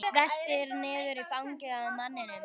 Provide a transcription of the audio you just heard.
Veltur niður í fangið á manninum.